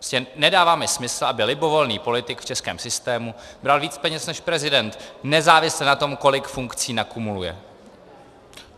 Prostě nedává mi smysl, aby libovolný politik v českém systému bral víc peněz než prezident, nezávisle na tom, kolik funkcí nakumuluje.